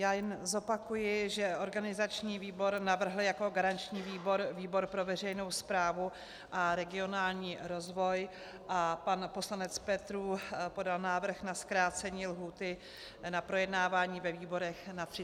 Já jen zopakuji, že organizační výbor navrhl jako garanční výbor výbor pro veřejnou správu a regionální rozvoj a pan poslanec Petrů podal návrh na zkrácení lhůty na projednávání ve výborech na 30 dnů.